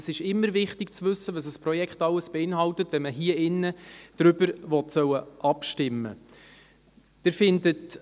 Es ist immer wichtig zu wissen, was ein Projekt alles beinhaltet, wenn man hier drin darüber abstimmen soll.